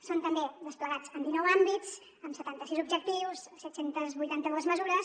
són també desplegats en dinou àmbits amb setanta sis objectius set cents i vuitanta dos mesures